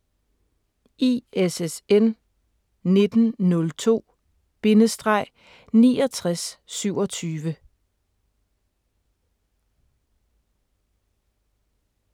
ISSN 1902-6927